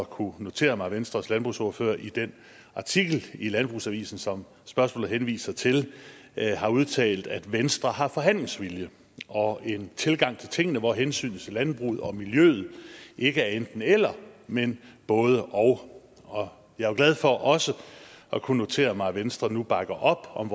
kunne notere mig at venstres landbrugsordfører i den artikel i landbrugsavisen som spørgsmålet henviser til har udtalt at venstre har forhandlingsvilje og en tilgang til tingene hvor hensynet til landbruget og miljøet ikke er enten eller men både og og jeg er glad for også at kunne notere mig at venstre nu bakker op om